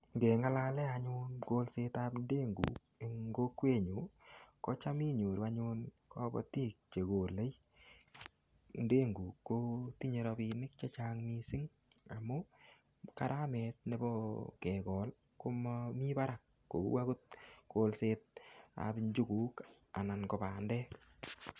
Ngeng'alale anyun kolsetab ndenguk eng' kokwenyu kocham inyoru anyun kobotik chekolei ndenguk kotinyei rabinik chechang' mising' amu karamet nebo kekol komami barak kou akot kolsetab njukuk anan ko bandek